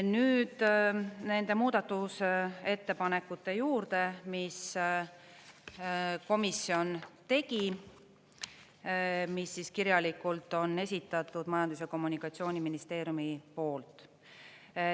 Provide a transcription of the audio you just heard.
Nüüd nende muudatusettepanekute juurde, mis komisjon tegi, mis kirjalikult on esitatud Majandus- ja Kommunikatsiooniministeeriumi poolt.